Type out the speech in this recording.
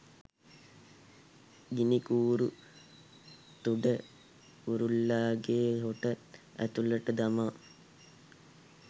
ගිණිකූරු තුඩ කුරුල්ලාගේ හොට ඇතුළට දමා